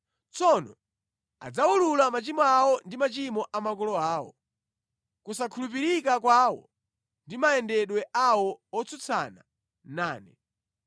“ ‘Tsono adzawulula machimo awo ndi machimo a makolo awo, kusakhulupirika kwawo ndi mayendedwe awo otsutsana nane,